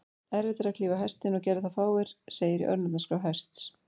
Erfitt er að klífa Hestinn, og gerðu það fáir, segir í örnefnaskrá Hests.